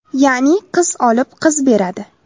Ya’ni, qiz olib, qiz beradi.